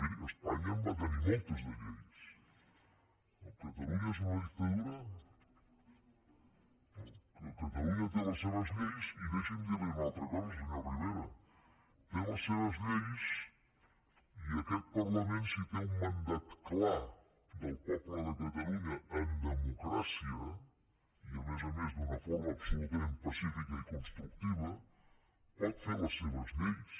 miri espanya en va tenir moltes de lleis no catalunya és una dictadura catalunya té les seves lleis i deixi’m dir li una altra cosa senyor rivera té les seves lleis i aquest parlament si té un mandat clar del poble de catalunya en democràcia i a més a més d’una forma absolutament pacífica i constructiva pot fer les seves lleis